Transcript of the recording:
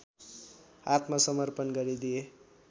आत्मसमर्पण गरिदिए